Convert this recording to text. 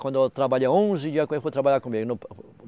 Quando eu trabalhei onze dias, quando ele foi trabalhar comigo.